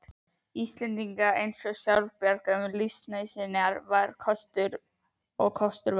Íslendinga eins sjálfbjarga um lífsnauðsynjar og kostur var.